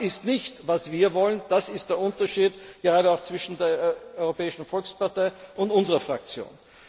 Das ist nicht das, was wir wollen, das ist der Unterschied gerade auch zwischen der Europäischen Volkspartei und unserer Fraktion.